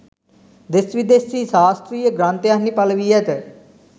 දෙස් විදෙස්හි ශාස්ත්‍රීය ග්‍රන්ථයන්හි පළ වී ඇත.